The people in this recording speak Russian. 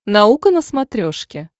наука на смотрешке